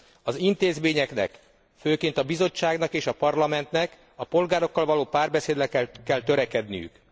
Az intézményeknek, főként a Bizottságnak és a Parlamentnek a polgárokkal való párbeszédre kell törekedniük.